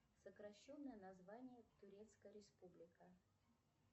сокращенное название турецкая республика